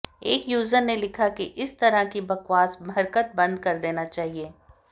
एक यूजर ने लिखा है कि इस तरह की बकवास हरकत बंद कर देना चाहिए